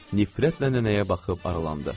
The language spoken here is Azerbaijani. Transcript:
Nifrətlə nənəyə baxıb aralandı.